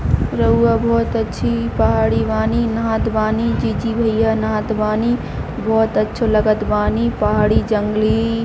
रउआ बहोत अच्छी पहाड़ी बानी नहात बानी जी-जी भैया नहात बानी बहोत अच्छो लगत बानी पहाड़ी जंगली--